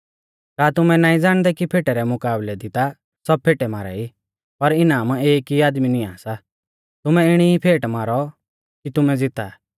का तुमै नाईं ज़ाणदै कि फेटै रै मुकाबलै दी ता सब फेटे मारा ई पर इनाम एक ई आदमी निआं सा तुमै इणी ई फेटै मारौ कि तुमै ज़ीता